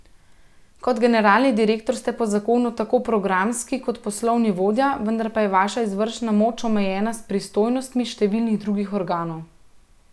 Kot generalni direktor ste po zakonu tako programski kot poslovni vodja, vendar pa je vaša izvršna moč omejena s pristojnostmi številnih drugih organov.